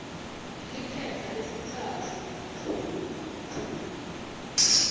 liphepha lesitsatfu p